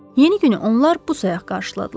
Yeni günü onlar bu sayaq qarşıladılar.